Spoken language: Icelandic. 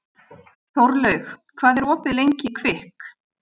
Þórlaug, hvað er opið lengi í Kvikk?